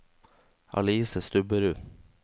Alice Stubberud